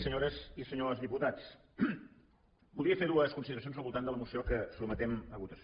senyores i senyors diputats voldria fer dues consideracions al voltant de la moció que sotmetem a votació